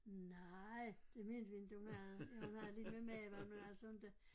Nej det mente vi inte hun havde ja hun havde lidt med maven men altså inte